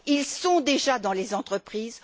Ils sont déjà dans les entreprises.